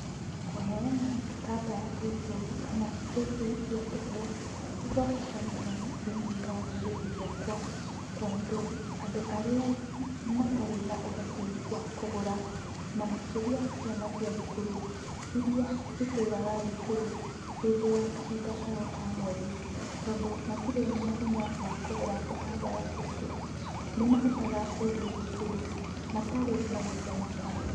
Kũheana tũtambaya tũtũ kana indo ici cia tũhũ nĩgwabata mũno thĩiniĩ wa rũrĩrĩ rwakwa, tondũ andũ arĩa matarĩ na ũhoti wa kũgũra na makĩria ciana cia thukuru iria citĩraga thukuru hĩndĩ ya kahinda kao ka mweri, tondũ matirĩ na hinya wa kũgũra tũtambaya tũtũ, nĩmahotaga gũthiĩ thukuru matarĩ na gũconoka.